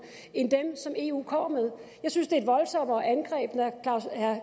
end dem som eu kommer med jeg synes det er et voldsommere angreb når herre